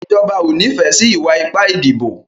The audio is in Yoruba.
Ìjọba o n'ifẹ sí iwa-ipa ìdìbò.